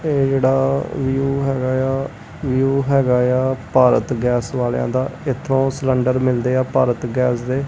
ਇਹ ਜਿਹੜਾ ਵਿਊ ਹੈਗਾ ਏ ਆ ਵਿਊ ਹੈਗਾ ਏ ਆ ਭਾਰਤ ਗੈਸ ਵਾਲਿਆਂ ਦਾ ਇਥੋਂ ਸਲੰਡਰ ਮਿਲਦੇ ਆ ਭਾਰਤ ਗੈਸ ਦੇ।